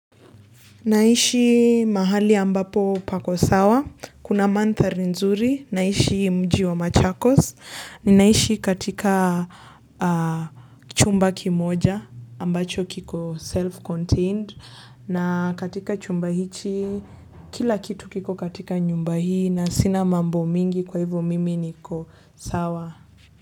Naishi mahali ambapo pako sawa. Kuna mandhari nzuri. Naishi mji wa Machakos. Ninaishi katika chumba kimoja ambacho kiko self-contained. Na katika chumba hiki kila kitu kiko katika nyumba hii na sina mambo mengi kwa hivyo mimi niko sawa.